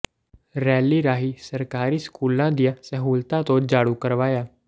rally ਰਾਹੀ ਸਰਕਾਰੀ ਸਕੂਲਾਂ ਦੀਆ ਸਹੂਲਤਾ ਤੋਂ ਜਾਣੂ ਕਰਵਾਇਆ